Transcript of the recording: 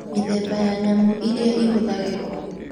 Mĩthemba ya nyamũ iria ĩhũthagĩrwo